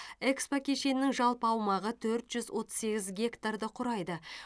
экспо кешенінің жалпы аумағы төрт жүз отыз сегіз гектарды құрайды